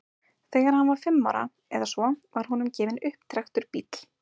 þegar hann var fimm ára eða svo var honum gefinn upptrekktur bíll